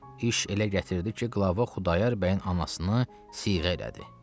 İş elə gətirdi ki, qılava Xudayar bəyin anasını siyğə elədi.